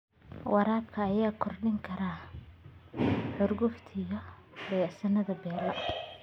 Waraabka ayaa kordhin kara xurgufta u dhaxaysa beelaha.